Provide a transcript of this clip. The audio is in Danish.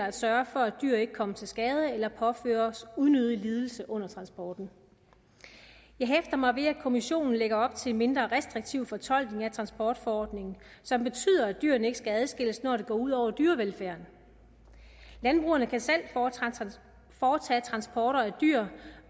at sørge for at dyr ikke kommer til skade eller påføres unødig lidelse under transporten jeg hæfter mig ved at kommissionen lægger op til en mindre restriktiv fortolkning af transportforordningen som betyder at dyrene ikke skal holdes adskilt når det går ud over dyrevelfærden landbrugerne kan selv foretage transport af dyr